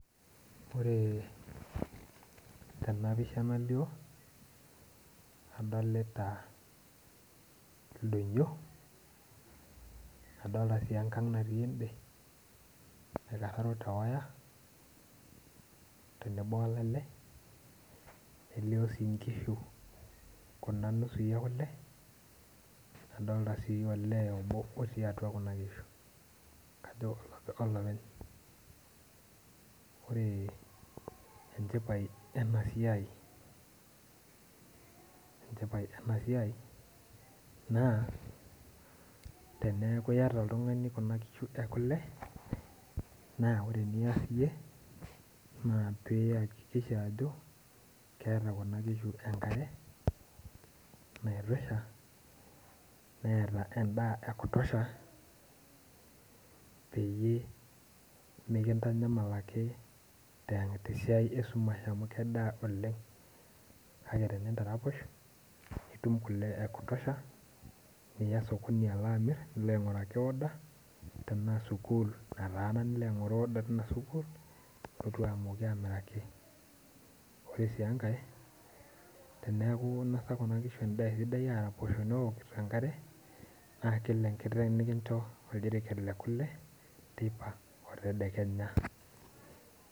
Ore tena pisha nalio adolita ildonyio adolta sii enkang natii ende naikarraro tewaya tenebo olale nelio sii inkishu kuna nusui ekule nadolta sii olee obo otii atua kuna kishu kajo olopeny ore enchipai ena siai enchipai ena siai naa teneeku iyata oltung'ani kuna kishu ekule naa ore eniyas iyie naa piyakikisha ajo keeta kuna kishu enkare naitosha neeta endaa ekutosha peyie mikintanyamal ake te tesiai esumash amu kedaa oleng kake tenintaraposh nitum kule e kutosha niya sokoni alo amirr nilo aing'uraki order tenaa sukuul nataana nilo aing'oru order tina sukuul nilotu amooki amiraki ore sii enkae teneeku inasa kuna kishu endaa esidai neraposho newokito enkare naa kila enkiteng nikincho oldiriket le kule teipa o tedekenya.